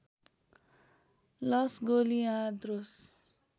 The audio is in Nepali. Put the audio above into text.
लस गोलिआद्रोस